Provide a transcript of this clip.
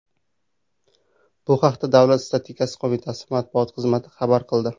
Bu haqda Davlat statistika qo‘mitasi matbuot xizmati xabar qildi .